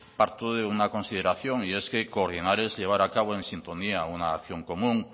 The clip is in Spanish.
parto de una consideración y es que coordinar es llevar a cabo en sintonía una acción común